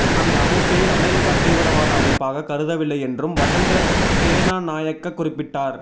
அந்த அமைப்பை அமெரிக்கா தீவிரவாத அமைப்பாக கருதவில்லை என்றும் வசந்த சேனாநாயக்க குறிப்பிட்டார்